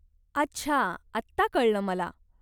अच्छा, आता कळल मला